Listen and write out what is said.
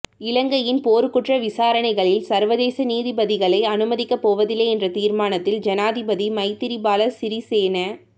இலங்கையின் போர்க்குற்ற விசாரணைகளில் சர்வதேச நீதிபதிகளை அனுமதிக்கப் போவதில்லை என்ற தீர்மானத்தில் ஜனாதிபதி மைத்திரிபால சிறிசேன